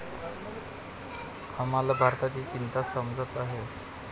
आम्हाला भारताची चिंता समजत आहे.